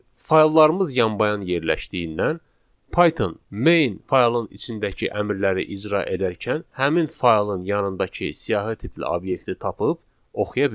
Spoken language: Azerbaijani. Fayllarımız yan-bayan yerləşdiyindən Python main faylın içindəki əmrləri icra edərkən həmin faylın yanındakı siyahı tipli obyekti tapıb oxuya bilir.